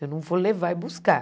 Eu não vou levar e buscar.